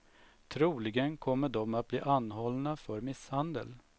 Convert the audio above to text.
Troligen kommer de att bli anhållna för misshandel.